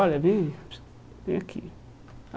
Olha, vem vem aqui.